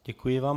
Děkuji vám.